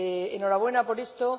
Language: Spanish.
Enhorabuena por esto.